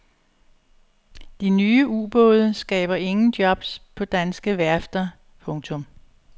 De nye ubåde skaber ingen jobs på danske værfter. punktum